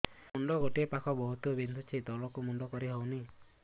ମୁଣ୍ଡ ଗୋଟିଏ ପାଖ ବହୁତୁ ବିନ୍ଧୁଛି ତଳକୁ ମୁଣ୍ଡ କରି ହଉନି